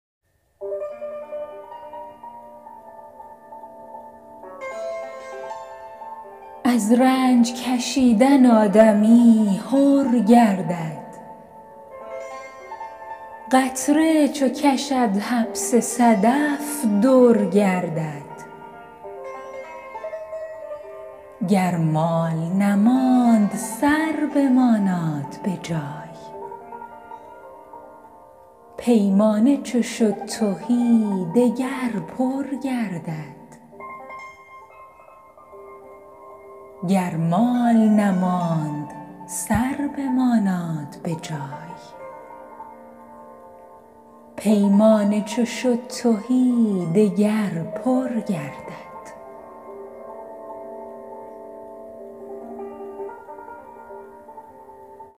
از رنج کشیدن آدمی حر گردد قطره چو کشد حبس صدف در گردد گر مال نماند سر بماناد به جای پیمانه چو شد تهی دگر پر گردد